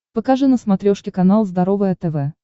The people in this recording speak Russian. покажи на смотрешке канал здоровое тв